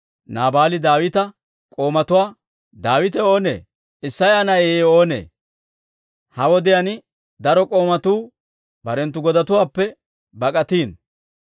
Naabaali Daawita k'oomatuwaa, «Daawite oonee? Isseya na'ay oonee? Ha wodiyaan daro k'oomatuu barenttu godatuwaappe bak'atiino.